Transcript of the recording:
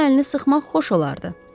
Onların əlini sıxmaq xoş olardı.